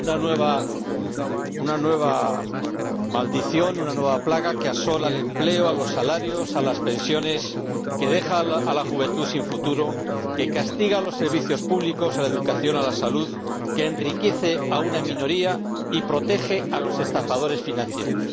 Es una nueva maldición, una nueva plaga que asola el empleo, los salarios, las pensiones, que deja a la juventud sin futuro, que castiga los servicios públicos, la educación, la salud, que enriquece a una minoría y protege a los estafadores financieros.